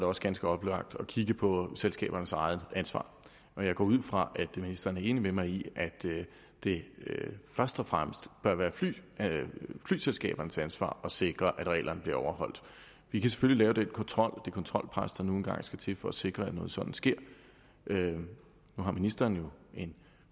også ganske oplagt at kigge på selskabernes eget ansvar jeg går ud fra at ministeren er enig med mig i at det først og fremmest bør være flyselskabernes ansvar at sikre at reglerne bliver overholdt vi kan selvfølgelig lave det kontrolpres der nu engang skal til for at sikre at noget sådant sker nu har ministeren jo en